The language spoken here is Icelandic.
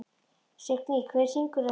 Signý, hver syngur þetta lag?